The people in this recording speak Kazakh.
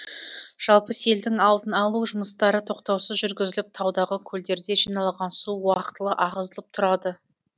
жалпы селдің алдын алу жұмыстары тоқтаусыз жүргізіліп таудағы көлдерде жиналған су уақытылы ағызылып тұрады